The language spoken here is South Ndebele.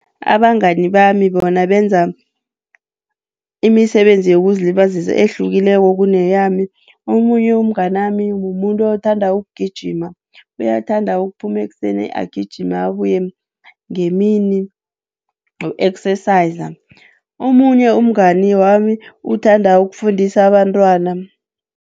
Abangani bami bona benza imisebenzi yokuzilibazisa ehlukileko kuneyami. Omunye umnganami mumuntu othanda ukugijima. Uyathanda ukuphuma ekuseni agijime abuye ngemini, noku-exerciser. Omunye umngani wami uthanda ukufundisa abantwana.